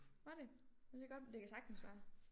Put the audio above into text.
Var det ja det kan godt det kan sagtens være